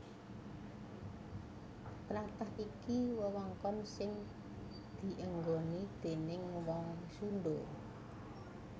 Tlatah iki wewengkon sing dienggoni déning wong Sundha